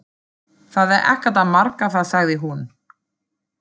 Það er ekkert að marka það sagði hún.